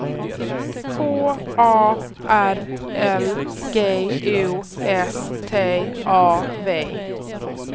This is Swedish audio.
K A R L G U S T A V